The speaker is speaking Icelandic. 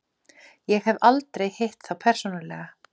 Ég hef aldrei hitt þá persónulega.